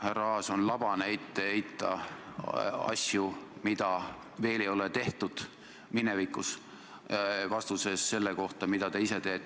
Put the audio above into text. Härra Aas, on labane ette heita asju, mida minevikus ei ole tehtud, vastuses selle kohta, mida te ise teete.